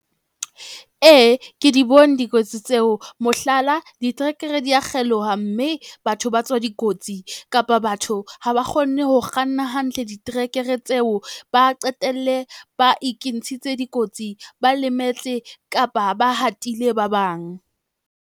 Ee, ke di bone dikotsi tseo mohlala, diterekere dia kgeloha, mme batho ba tswa dikotsi kapa batho ha ba kgonne ho kganna hantle diterekere tseo ba qetelle ba ikintshitse dikotsi, ba lemetse kapa ba hatehile ba bang.